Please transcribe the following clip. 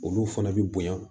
Olu fana bi bonya